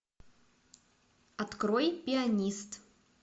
открой пианист